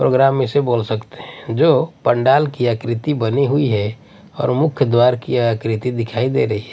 Programme इसे बोल सकते है जो पंडाल की आकृति बनी हुई है और मुख्य द्वार की आकृति दिखाई दे रही है।